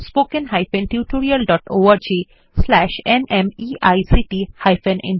রাধা এই টিউটোরিয়াল টি অনুবাদ এবং অন্তরা সেটি রেকর্ড করেছেন